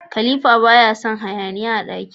Khalifa baya Son hayaniya a daki